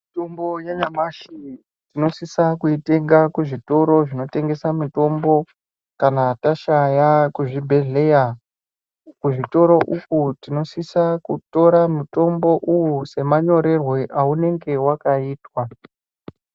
Mitombo yanyamashi tinosisa kuitenga kuzvitoro zvinotengesa mitombo kana tashaya kuzvibhedhleya. Kuzvitoro uku tinosisa kutora mutombo uyu semanyorerwe aunenge wakaitwa.